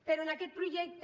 però en aquest projecte